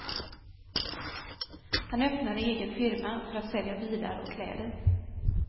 Han öppnade egen firma för att sälja bilar och kläder.